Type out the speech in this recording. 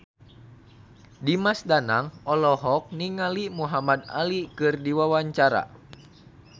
Dimas Danang olohok ningali Muhamad Ali keur diwawancara